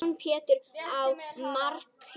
Jón Pétur í markið!